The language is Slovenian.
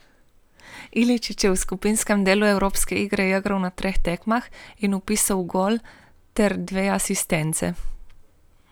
Iličić je v skupinskem delu evropske lige igral na treh tekmah in vpisal gol ter dve asistenci.